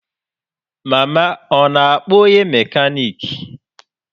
Mama ọ na-akpọ onye mekaniki?